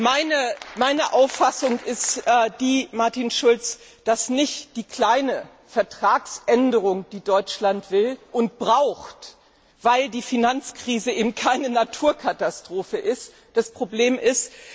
Meine Auffassung ist die, Martin Schulz, dass nicht die kleine Vertragsänderung, die Deutschland will und braucht weil die Finanzkrise eben keine Naturkatastrophe ist das Problem ist.